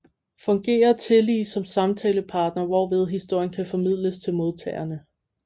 Fungerer tillige som samtalepartner hvorved historien kan formidles til modtagerne